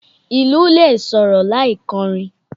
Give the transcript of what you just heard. Ìlù lè sọ̀rọ̀ láì kọ́rin.